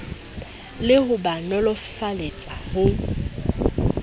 le ho ba nolofaletsa ho